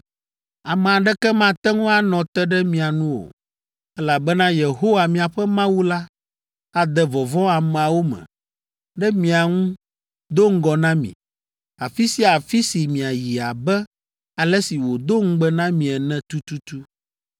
Ame aɖeke mate ŋu anɔ te ɖe mia nu o, elabena Yehowa, miaƒe Mawu la ade vɔvɔ̃ ameawo me ɖe mia ŋu do ŋgɔ na mi, afi sia afi si miayi abe ale si wòdo ŋugbe na mi ene tututu.